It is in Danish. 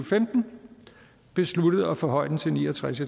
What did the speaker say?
femten besluttet at forhøje den til ni og tres